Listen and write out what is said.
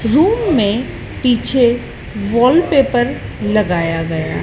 Room में पीछे wallpaper लगाया गया।